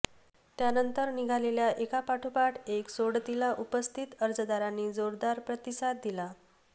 त्यानंतर निघालेल्या एकापाठोपाठ एक सोडतीला उपस्थित अर्जदारांनी जोरदार प्रतिसाद दिला